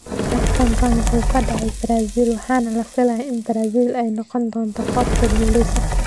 Tartankan wuxuu ka dhacay Brazil, waxaana la filayay in Brazil ay noqon doonto kooxda guuleysata.